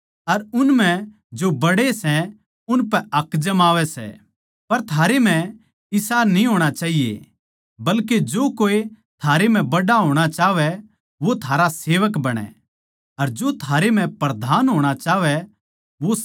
तो यीशु नै उन ताहीं धोरै बुलाकै उनतै कह्या थमनै बेरा सै के जो गैर यहूदियाँ के हाकिम समझे जावैं सै वे उनपै राज करै सै अर उन म्ह जो बड्डे सै उनपै हक जमावैं सै